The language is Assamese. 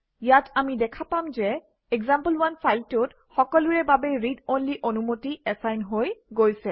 ইয়াত আমি দেখা পাম যে এক্সাম্পল1 ফাইলটোত সকলোৰে বাবে ৰিড অনলি অনুমতি এচাইন হৈ গৈছে